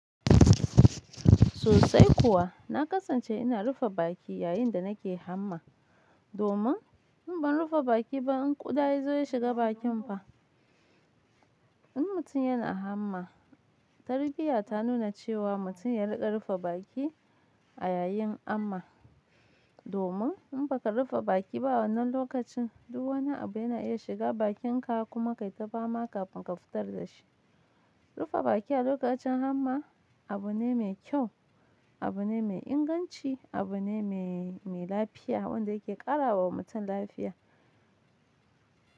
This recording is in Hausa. Sosai kuwa, na kasance ina rufe baki yayin da nake hamma domin in ban rufe baki ba in ƙuda yazo yashiga bakin fa. In mutum yana hamma, tarbiyya ta nuna cewa mutum ya riƙa rufe baki a yayin amma domin in baka rufe baki ba wannan lokacin duk wani abu yana iya shiga bakinka kuma kai ta fama kafin ka fitar da shi. Rufe baki a lokacin hamma abu ne mai kyau, abu ne mai inganci, abu ne mai, mai lafiya wanda yake ƙarawa mutum lafiya.